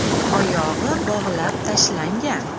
Oyog‘i bog‘lab tashlangan.